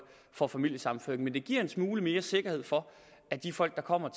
får familiesammenføring men det giver en smule mere sikkerhed for at de folk der kommer